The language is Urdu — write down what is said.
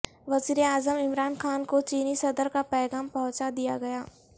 وزیر اعظم عمران خا ن کو چینی صدر کا پیغام پہنچا دیا گیا